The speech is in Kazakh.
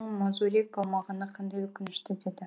мазурик болмағаны қандай өкінішті деді